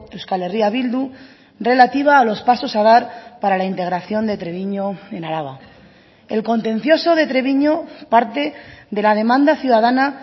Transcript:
euskal herria bildu relativa a los pasos a dar para la integración de treviño en araba el contencioso de treviño parte de la demanda ciudadana